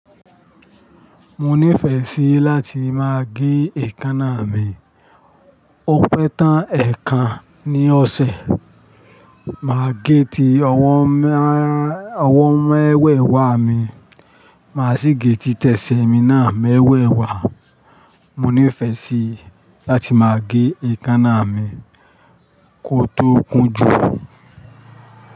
Mo nífẹ́ sí láti máa gé èékánná mi. Ó pẹ́ tán ẹ̀ẹ̀kan ní ọ̀sẹ̀. Màá gé ti ọwọ́ mẹ́wẹ̀ẹ̀wá mi, màá sì gé ti tẹsẹ̀ mi náà mẹ́wẹ̀ẹ̀wá. Mo nífẹ́ sí láti máa gé èékánná mi kó tó kún jù.